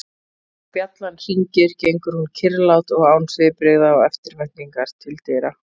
Þegar bjallan hringir gengur hún kyrrlát og án svipbrigða og eftirvæntingar til dyra.